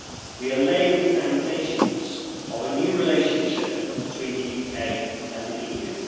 we are laying the foundations of a new relationship between the UK and the EU.